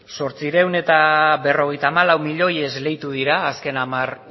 zortziehun eta berrogeita hamalau miloi esleitu dira azken hamar